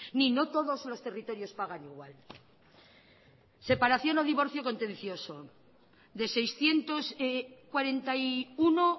ni no todos los territorios pagan igual separación o divorcio contencioso de seiscientos cuarenta y uno